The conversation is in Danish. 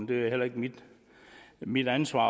det er heller ikke mit mit ansvar